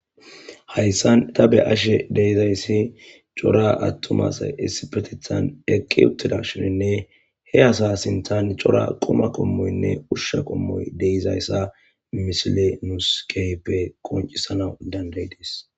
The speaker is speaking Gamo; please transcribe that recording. Hayssan ta be'ashe dizay cora attuma asay issippeteththan lo'i uttidashininne he asa sinththan cora quma qommoy de'izayssa ha misiley nuussi keehippe qonccisanaw danda'ides.